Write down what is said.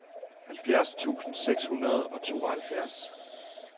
halvfjerds tusind seks hundrede og tooghalvfjerds